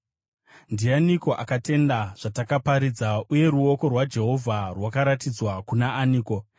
Ndianiko akatenda zvatakaparidza, uye ruoko rwaJehovha rwakaratidzwa kuna aniko?